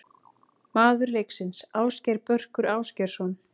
Maður leiksins: Ásgeir Börkur Ásgeirsson.